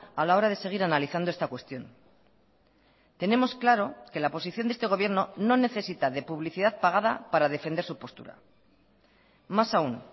a la hora de seguir analizando esta cuestión tenemos claro que la posición de este gobierno no necesita de publicidad pagada para defender su postura más aún